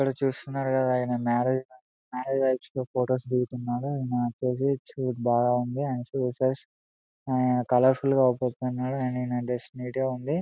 ఇక్కడ చూస్తున్నారు కదా అయానా మ్యారేజ్ మ్యారేజ్ లో ఫొటోస్ దిగుతున్నారు ఆయన అయన కలర్‌ఫుల్‌ గ కనపడుతున్నాడు అండ్ డ్రెస్ నీట్ గ ఉంది .